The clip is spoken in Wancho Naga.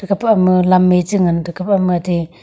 pama lam me cha ngan teka pama te.